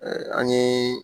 an ɲe